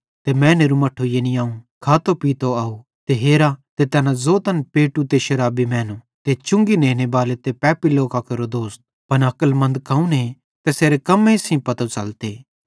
ते मैनेरू मट्ठू यानी अवं खातो पीतो आव हेरा ते तैना ज़ोतन पेटू ते शराबी मैनू ते चुंगी नेनेबाले ते पापी लोकां केरो दोस्त पन अक्लमन्द कौने तैसेरे कम्मेईं सेइं पतो च़लते